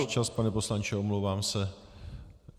Váš čas, pane poslanče, omlouvám se.